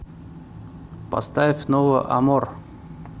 поставь ново амор